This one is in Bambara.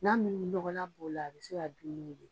Na min ni nɔgɔlan b'ɔ la, a bi se ka dun n'o ye